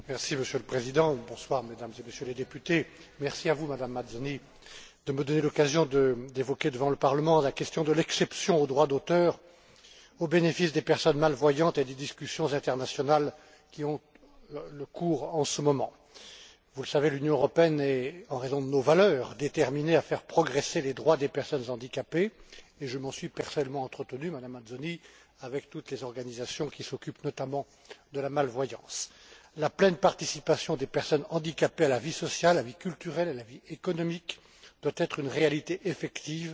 Monsieur le Président, Mesdames et Messieurs les députés, merci à vous, Madame Mazzoni, de me donner l'occasion d'évoquer devant le Parlement la question de l'exception au droit d'auteur au bénéfice des personnes malvoyantes, et des discussions internationales en cours en ce moment. Vous le savez, l'Union européenne est, de par ses valeurs, déterminée à faire progresser les droits des personnes handicapées et je m'en suis personnellement entretenu, Madame Mazzoni, avec toutes les organisations qui s'occupent notamment de la malvoyance. La pleine participation des personnes handicapées à la vie sociale, à la vie culturelle, à la vie économique, doit être une réalité effective